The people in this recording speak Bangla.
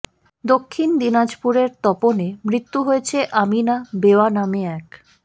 দক্ষিণ দিনাজপুরের তপনে মৃত্যু হয়েছে আমিনা বেওয়া নামে এক